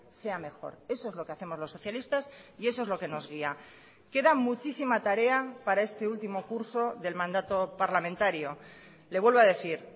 sea mejor eso es lo que hacemos los socialistas y eso es lo que nos guía queda muchísima tarea para este último curso del mandato parlamentario le vuelvo a decir